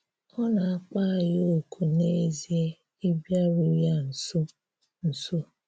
Ọ na-akpọ̀ anyị òkù n’ezìe ịbịarù ya nso. nso.